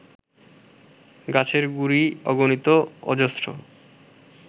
গাছের গুঁড়ি অগণিত অজস্র